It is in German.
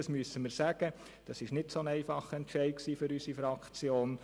Das müssen wir sagen, und das war kein sehr einfacher Entscheid für unsere Fraktion.